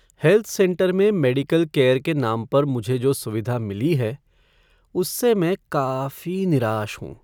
Health centre में medical care के नाम पर मुझे जो सुविधा मिली है, उससे मैं काफी निराश हूँ।